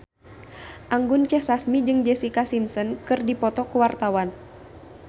Anggun C. Sasmi jeung Jessica Simpson keur dipoto ku wartawan